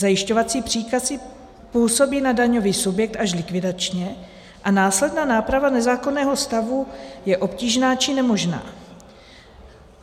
Zajišťovací příkazy působí na daňový subjekt až likvidačně a následná náprava nezákonného stavu je obtížná či nemožná.